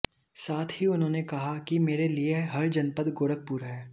साथ ही उन्होंने कहा कि मेरे लिए हर जनपद गोरखपुर है